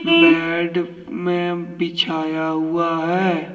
Bed में बिछाया हुआ है।